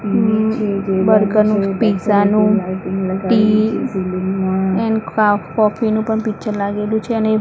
burger નું pizza નું ટી એન કા કોફી નું પણ પિક્ચર લાગેલું છે અને --